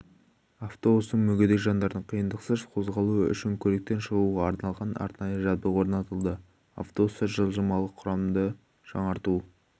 автобустың мүгедек жандардың қиындықсыз қозғалуы үшін көліктен шығуға арналған арнайы жабдық орнатылды автобуста жылжымалы құрамды жаңарту